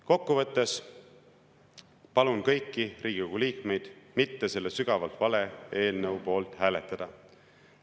Kokkuvõttes palun kõiki Riigikogu liikmeid selle sügavalt vale eelnõu poolt mitte hääletada.